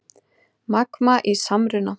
Magma í samruna